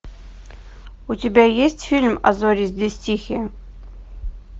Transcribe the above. у тебя есть фильм а зори здесь тихие